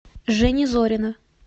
жени зорина